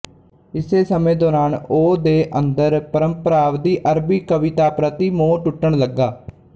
ਇਸੇ ਸਮੇਂ ਦੌਰਾਨ ਉਹ ਦੇ ਅੰਦਰ ਪਰੰਪਰਾਵਾਦੀ ਅਰਬੀ ਕਵਿਤਾ ਪ੍ਰਤੀ ਮੋਹ ਟੁੱਟਣ ਲੱਗਾ